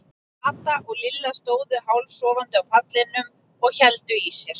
Kata og Lilla stóðu hálfsofandi á pallinum og héldu sér í.